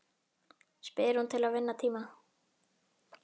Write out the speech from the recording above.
spyr hún til að vinna tíma.